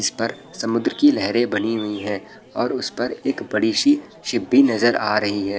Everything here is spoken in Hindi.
इस पर समुद्र की लहरे बनी हुई है और उस पर एक बड़ी सी शिप भी नजर आ रही है।